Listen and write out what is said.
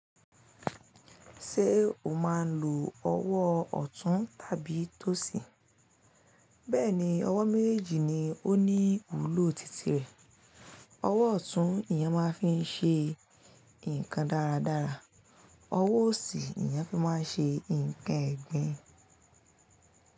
Ṣé o máa ń lo ọwọ́ ọ̀tún tàbí tósìn? Bẹ́ẹ̀ ni, ọwọ́ méjèèjì ni ó ní ìwúlò titi rẹ̀. Ọwọ́ ọ̀tún, ìyen máa ń fi ṣe nǹkan dáradára. Ọwọ́ òsì, ìyá fi máa ń ṣe nǹkan ẹ̀gbin.